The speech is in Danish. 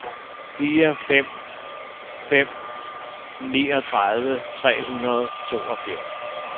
fire to fem fem niogtredive tre hundrede og toogfirs